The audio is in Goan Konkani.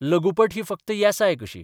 लघुपट ही फकत येसाय कशी.